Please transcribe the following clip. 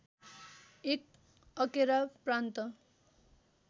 एक अकेरा प्रान्त